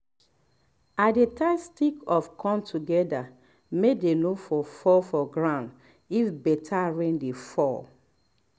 i dey tie stick of corn together may dey for no fall for ground if better rain dey fall